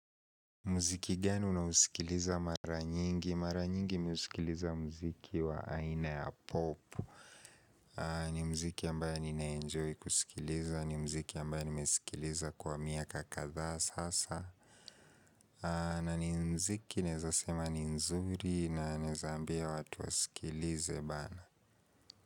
Muziki geni na usikiliza mara nyingi? Mara nyingi mi husikiliza mziki wa aina ya popu ni mziki ambayo nina enjoy kusikiliza, ni mziki ambayo nimesikiliza kwa miaka kadha sasa. Na ni mziki ninaweza sema ni nzuri na naweza ambia watu wasikilize bar.